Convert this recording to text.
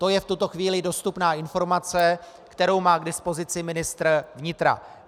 To je v tuto chvíli dostupná informace, kterou má k dispozici ministr vnitra.